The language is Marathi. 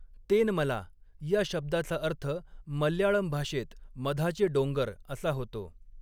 तेनमला' या शब्दाचा अर्थ मल्याळम भाषेत 'मधाचे डोंगर' असा होतो.